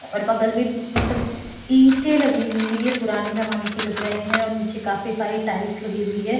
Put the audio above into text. और बगल में पू पू मतलब ईंटे लगी हुई है ये पुराने जमाने की लग रहे है और नीचे काफी सारी टाइल्स लगी हुई है।